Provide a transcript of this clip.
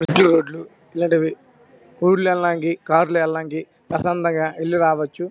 Road లు ఇలాంటివి ఊర్ల వెళ్లడానికి కార్ లా వెళ్లడానికి ప్రశాంతంగా వెళ్ళి రావచ్చు.